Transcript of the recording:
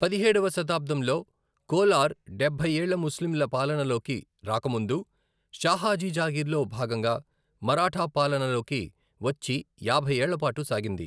పదిహేడవ శతాబ్దంలో కోలార్ డెభ్బై ఏళ్ల ముస్లింల పాలనలోకి రాక ముందు షాహాజీ జాగీర్లో భాగంగా మరాఠా పాలనలోకి వచ్చి యాభై ఏళ్లపాటు సాగింది.